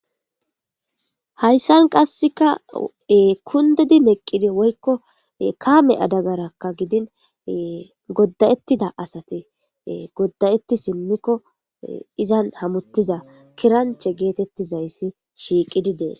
Hayssan qassika kundidi meqqidi woykko kaame adegarakka gidin godda'etida asati godda'etti simmiko izan hamottizayssi kiranchche geetetizayssi shiiqidi dees.